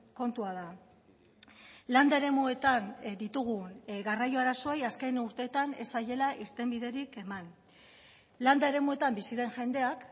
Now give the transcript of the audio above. kontua da landa eremuetan ditugun garraio arazoei azken urteetan ez zaiela irtenbiderik eman landa eremuetan bizi den jendeak